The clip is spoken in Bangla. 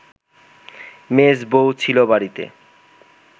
মেজ বৌ ছিল বাড়িতে